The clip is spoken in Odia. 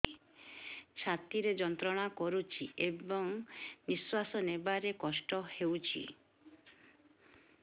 ଛାତି ଯନ୍ତ୍ରଣା କରୁଛି ଏବଂ ନିଶ୍ୱାସ ନେବାରେ କଷ୍ଟ ହେଉଛି